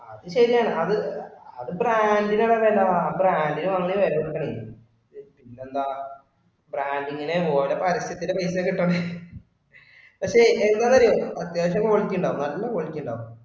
അത് ശരിയാണ് അത് brand ഇന്റെ വില അല്ല. Brand ഇന്റെ വാങ്ങണെ വില കൊടുക്കണേ. പിന്നെന്താ brand ഇങ്ങനെ ഓരോ പരസ്യത്തിന്റെ പേരിൽ തന്നെ കിട്ടു പക്ഷെ എന്താന്നറിയുവോ അത്യാവിശം quality ഉണ്ടാവും നല്ല quality ഉണ്ടാവും.